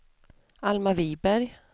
Alma Viberg